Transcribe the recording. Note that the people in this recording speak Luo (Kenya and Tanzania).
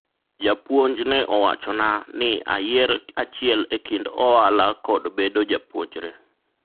japuonj ne owachona ni ayier achiel e kind ohala kod bedo japuonjre